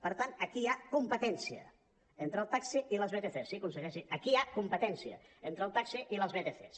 per tant aquí hi ha competència entre el taxi i les vtcs sí conseller sí aquí hi ha competència entre el taxi i les vtcs